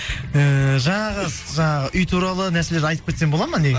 ііі жаңағы үй туралы нәрселерді айтып кетсем болады ма